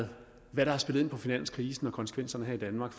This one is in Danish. hvad har spillet ind på finanskrisen og konsekvenserne her i danmark